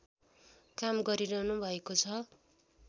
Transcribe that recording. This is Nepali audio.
काम गरिरहनु भएको छ